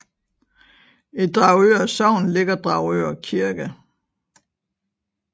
I Dragør Sogn ligger Dragør Kirke